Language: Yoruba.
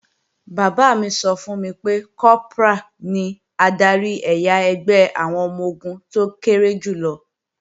Bàbá mi sọ fún mi pé, Kọ́prà ní adarí ẹ̀yà ẹgbẹ́ àwọn ọmọ-ogun tó kéré jù lọ